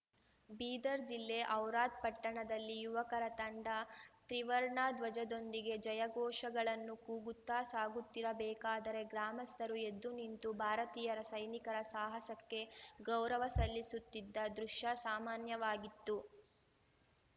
ಬೀದರ್‌ ಜಿಲ್ಲೆ ಔರಾದ್‌ ಪಟ್ಟಣದಲ್ಲಿ ಯುವಕರ ತಂಡ ತ್ರಿವರ್ಣ ಧ್ವಜದೊಂದಿಗೆ ಜಯಘೋಷಗಳನ್ನು ಕೂಗುತ್ತಾ ಸಾಗುತ್ತಿರಬೇಕಾದರೆ ಗ್ರಾಮಸ್ಥರು ಎದ್ದು ನಿಂತು ಭಾರತೀಯ ಸೈನಿಕರ ಸಾಹಸಕ್ಕೆ ಗೌರವ ಸಲ್ಲಿಸುತ್ತಿದ್ದ ದೃಶ್ಯ ಸಾಮಾನ್ಯವಾಗಿತ್ತು